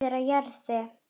Friður á jörðu.